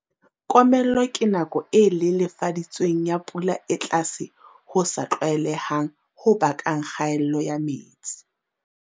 Komello ke nako e lelefaditsweng ya pula e tlase ho sa tlwaelehang ho bakang kgaello ya metsi.